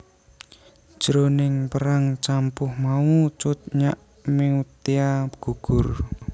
Jroning perang campuh mau Cut Nyak Meutia gugur